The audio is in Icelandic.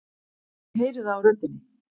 Ég heyri það á röddinni.